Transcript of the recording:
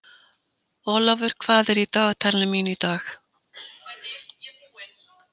Olavur, hvað er í dagatalinu mínu í dag?